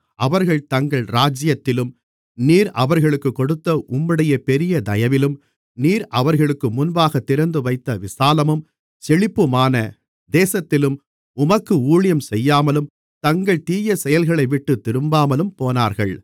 அவர்கள் தங்கள் ராஜ்ஜியத்திலும் நீர் அவர்களுக்குக் கொடுத்த உம்முடைய பெரிய தயவிலும் நீர் அவர்களுக்கு முன்பாகத் திறந்துவைத்த விசாலமும் செழிப்புமான தேசத்திலும் உமக்கு ஊழியஞ்செய்யாமலும் தங்கள் தீயசெயல்களைவிட்டுத் திரும்பாமலும் போனார்கள்